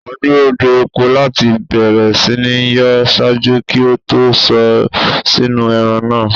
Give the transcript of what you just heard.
A n duro de epo lati bẹrẹ si nyọ ṣaaju ki o to sọ sinu ẹran naa